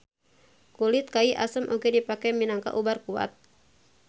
Kulit kai asem oge dipake minangka ubar kuat